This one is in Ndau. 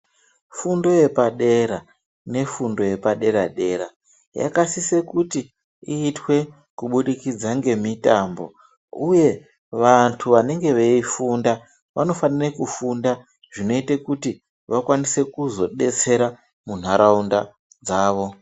Fundo yepa dera ne fundo yepa dera dera yaka sise kuti iyitwe ku budikidza nge mitambo uye vantu vanenge vei funda vano fanire ku funda zvino ite kuti vakwanise kuzo detsera mu nharaunda dzavo.